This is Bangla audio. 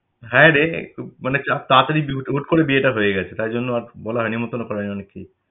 হ্যাঁ রে একটু মানে চাপ তাড়াতাড়ি করে বিয়েটা করা হয়ে গেছে, তাই জন্য আর বলা হয়নি নেমতন্ন আর করা হয়নি অনেককেই।